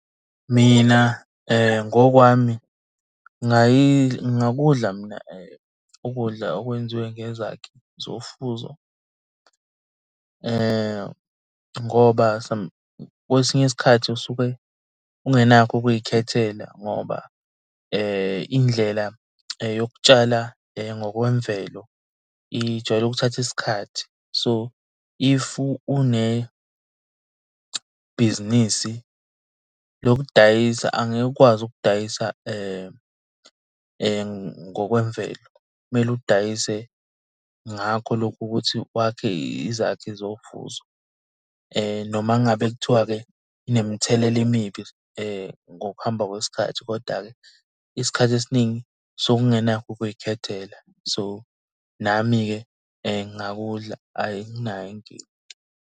Mina ngokwami ngingakudla mina ukudla okwenziwe ngezakhi zofuzo ngoba kwesinye isikhathi usuke ungenakho ukuy'khethela ngoba indlela yokutshala ngokwemvelo ijwayele ukuthatha isikhathi. So if unebhizinisi lokudayisa angeke ukwazi ukudayisa ngokwemvelo, kumele udayise ngakho lokhu ukuthi wakhe izakhi zofuzo. Noma ngabe kuthiwa-ke inemithelela emibi ngokuhamba kwesikhathi koda-ke isikhathi esiningi sukungenakho ukuy'khethela. So nami-ke ngingakudla anginayo inkinga.